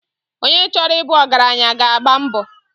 Onye chọrọ ị bụ ọgaranya ga-agba mbọ..